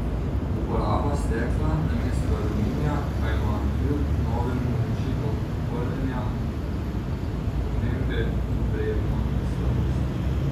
Uporaba stekla namesto aluminija pa ima kljub novemu načinu polnjenja omembe vredno slabost.